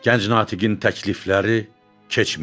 Gənc natiqin təklifləri keçmirdi.